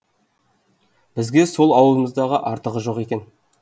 бізге сол ауылымыздан артығы жоқ екен